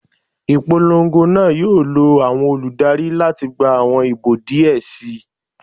Ipolongo naa yoo lo awọn oludari lati gba awọn ibo diẹ sii